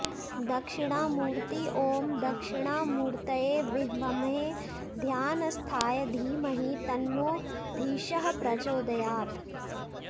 दक्षिणामूर्ति ॐ दक्षिणामूर्तये विद्महे ध्यानस्थाय धीमहि तन्नो धीशः प्रचोदयात्